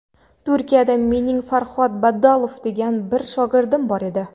Turkiyada mening Farhod Badalov degan bir shogirdim bor edi.